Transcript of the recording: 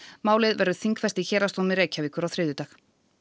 málið verður þingfest í Héraðsdómi Reykjavíkur á þriðjudag